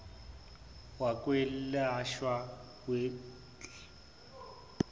wokwelashwa w cl